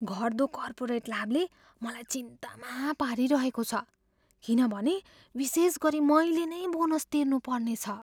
घट्दो कर्पोरेट लाभले मलाई चिन्तामा पारिरहेको छ किनभने विशेष गरी मैले नै बोनस तिर्नुपर्नेछ।